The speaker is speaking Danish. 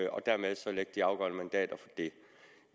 og dermed så lægge de afgørende mandater for det